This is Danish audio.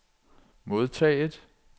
modtaget